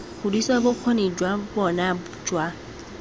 godisa bokgoni jwa bona jwa